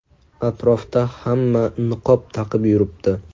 Atrofda hamma niqob taqib yuribdi.